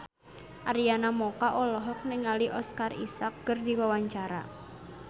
Arina Mocca olohok ningali Oscar Isaac keur diwawancara